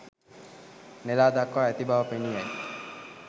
නෙලා දක්වා ඇති බව පෙනී යයි